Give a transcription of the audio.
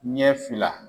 Ɲɛ fila